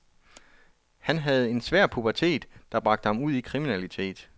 Han havde en svær pubertet, der bragte ham ud i kriminalitet.